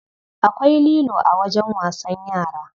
Akwai lilo a wajen wasan yara.